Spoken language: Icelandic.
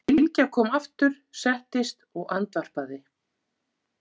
Bylgja kom aftur, settist og andvarpaði.